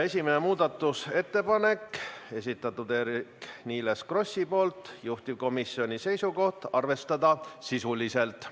Esimene muudatusettepanek, esitaja Eerik-Niiles Kross, juhtivkomisjoni seisukoht on arvestada sisuliselt.